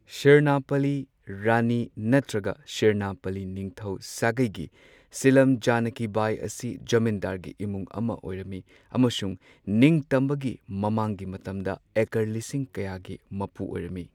ꯁꯤꯔꯅꯥꯄꯜꯂꯤ ꯔꯥꯅꯤ ꯅꯠꯇ꯭ꯔꯒ ꯁꯤꯔꯥꯅꯥꯄꯜꯂꯤ ꯅꯤꯡꯊꯧ ꯁꯥꯒꯩꯒꯤ ꯁꯤꯂꯝ ꯖꯥꯅꯀꯤ ꯕꯥꯏ ꯑꯁꯤ ꯖꯃꯤꯟꯗꯥꯔꯒꯤ ꯏꯃꯨꯡ ꯑꯃ ꯑꯣꯏꯔꯝꯃꯤ꯫ ꯑꯃꯁꯨꯡ ꯅꯤꯡꯇꯝꯕꯒꯤ ꯃꯃꯥꯡꯒꯤ ꯃꯇꯝꯗ ꯑꯦꯀꯔ ꯂꯤꯁꯤꯡ ꯀꯌꯥꯒꯤ ꯃꯄꯨ ꯑꯣꯏꯔꯝꯃꯤ꯫